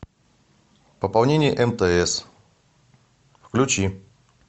пополнение мтс включи